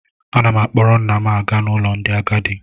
Ana m akpọrọ nna m aga n'ụlọ ndị agadi